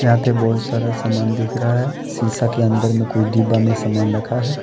यहां पे बहोत सारा सामान दिख रहा है सीसा के अंदर में कोई डिब्बा में सामान रखा है।